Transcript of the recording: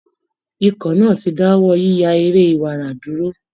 Ikọ̀ náà ti dáwọ́ yíya eré iwara dúró